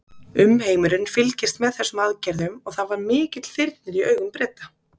Umheimurinn fylgist með þessum aðgerðum og það var mikill þyrnir í augum Breta.